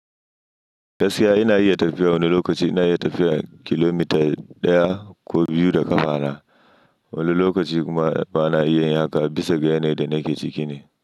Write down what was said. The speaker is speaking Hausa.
Gaskiya ina iya tafiya, wani lokaci ina iya tafiya kilomita ɗaya ko biyu da ƙafana, wani lokaci kuma bana iya yi haka bisa ga yanayin da nake ciki ne.